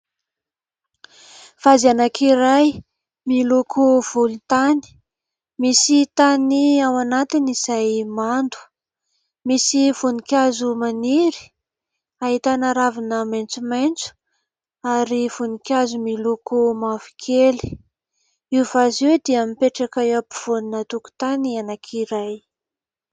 Vazy anankiray miloko volontany. Misy tany ao anatiny izay mando ; misy voninkazo maniry, ahitana ravina maitsomaitso ary voninkazo miloko mavokely. Io vazy io dia mipetraka eo ampovoanina tokotany anankiray.